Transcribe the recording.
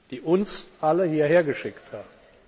Sie, die uns alle hierher geschickt haben.